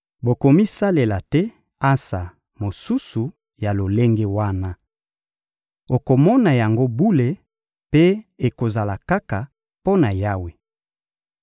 Bokomisalela te ansa mosusu ya lolenge wana. Okomona yango bule mpe ekozala kaka mpo na Yawe.